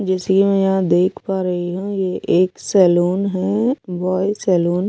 जैसे ये यहां देख पा रही हूं ये एक सैलून है बॉय सैलून --